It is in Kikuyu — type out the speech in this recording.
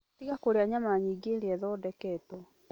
Tiga kũrĩaga nyama nyingĩ iria ithondeketwo.